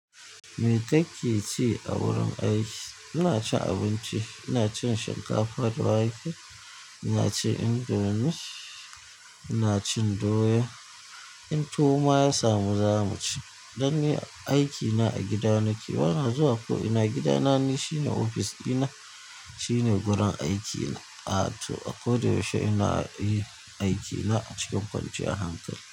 Me kake ci a wurin aiki? Ina cin abinci, ina cin shinkafa da wake, ina cin indomie, ina cin doya. In tuwo ma ya samu za mu ci. Dan ni aikina a gida nake, bana zuwa ko ina. Gida na ni shi ne ofis ɗina, shine gurin aiki na. A to a koda yaushe ina yi aikina a cikin kwanciyan hankali.